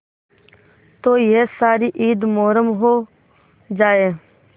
तो यह सारी ईद मुहर्रम हो जाए